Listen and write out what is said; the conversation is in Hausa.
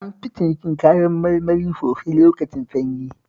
An fi cinikin kayan marmari sosai lokacin sanyi